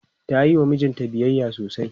tayiwa mijinta biyayya sosai